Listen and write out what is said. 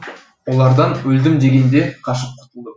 олардан өлдім дегенде қашып құтылдым